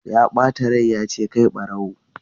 Ya bata rai ya ce 'kai barawo!'